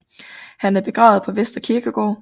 Han er begravet på Vestre Kirkegård